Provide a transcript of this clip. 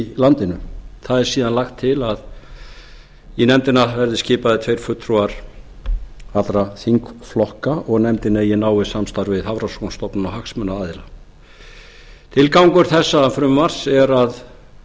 landinu það er síðan lagt til að í nefndina verði skipaðir tveir fulltrúar allra þingflokka og nefndin eigi náið samstarf við hafrannsóknastofnunina og hagsmunaaðila tilgangur þessa frumvarps er að